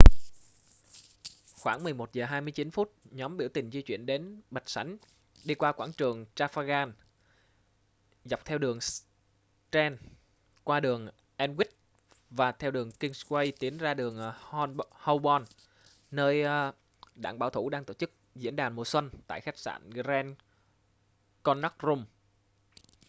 khoảng 11 giờ 29 phút nhóm biểu tình di chuyển đến bạch sảnh đi qua quảng trường trafalgar dọc theo đường strand qua đường aldwych và theo đường kingsway tiến ra đường holborn nơi đảng bảo thủ đang tổ chức diễn đàn mùa xuân tại khách sạn grand connaught rooms